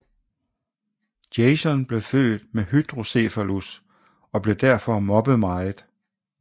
Jason blev født med hydrocephalus og blev derfor mobbet meget